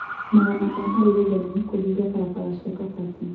Magana ma arũrũngani kũhinga barabara cia Kabati